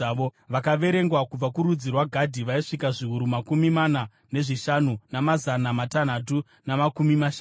Vakaverengwa kubva kurudzi rwaGadhi vaisvika zviuru makumi mana nezvishanu, namazana matanhatu namakumi mashanu.